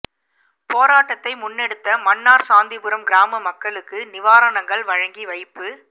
போராட்டத்தை முன்னெடுத்த மன்னார் சாந்திபுரம் கிராம மக்களுக்கு நிவாரணங்கள் வழங்கி வைப்பு